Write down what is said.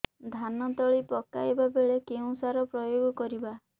ଧାନ ତଳି ପକାଇବା ବେଳେ କେଉଁ ସାର ପ୍ରୟୋଗ କରିବା